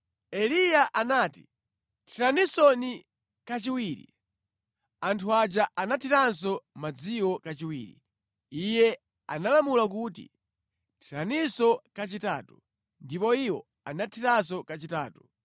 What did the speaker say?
Eliya anati, “Thiraninso kachiwiri.” Anthu aja anathiranso madziwo kachiwiri. Iye analamula kuti, “Thiraninso kachitatu.” Ndipo iwo anathiranso kachitatu.